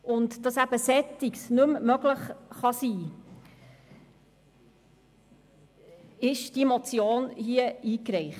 Damit dergleichen nicht mehr vorkommen kann, haben wir diese Motion eingereicht.